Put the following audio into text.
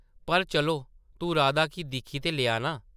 पर चलो , तूं राधा गी दिक्खी ते लेआ नां?